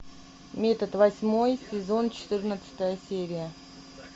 метод восьмой сезон четырнадцатая серия